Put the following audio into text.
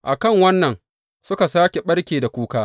A kan wannan suka sāke ɓarke da kuka.